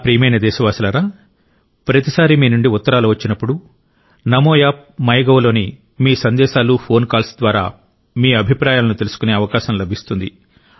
నా ప్రియమైన దేశవాసులారా ప్రతిసారీ మీ నుండి ఉత్తరాలు వచ్చినప్పుడు నమో యాప్ మైగవ్లోని మీ సందేశాలు ఫోన్ కాల్స్ ద్వారా మీ అభిప్రాయాలను తెలుసుకునే అవకాశం లభిస్తుంది